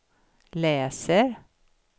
läser